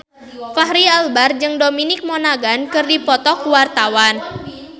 Fachri Albar jeung Dominic Monaghan keur dipoto ku wartawan